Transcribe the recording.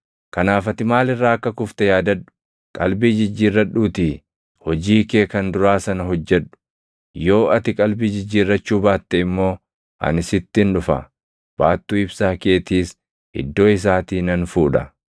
Kanaaf ati maal irraa akka kufte yaadadhu! Qalbii jijjiirradhuutii hojii kee kan duraa sana hojjedhu. Yoo ati qalbii jijjiirrachuu baatte immoo ani sittin dhufa; baattuu ibsaa keetiis iddoo isaatii nan fuudha.